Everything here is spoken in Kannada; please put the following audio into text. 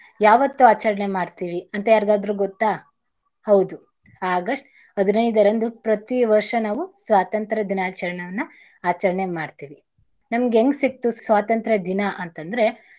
ಯಾವತ್ತು ಆಚರಣೆ ಮಾಡ್ತೀವಿ ಅಂತ ಯಾರಗಾದ್ರು ಗೊತ್ತಾ? ಹೌದು August ಹದಿನೈದರಂದು ಪ್ರತೀ ವರ್ಷ ನಾವು ಸ್ವತಂತ್ರ ದಿನಾಚರಣೆಯನ್ನಾ ಆಚರಣೆ ಮಾಡ್ತೀವಿ. ನಮ್ಗೆ ಹೆಂಗ್ ಸಿಕ್ತು ಸ್ವಾತಂತ್ರ ದಿನ ಅಂತದ್ರೆ.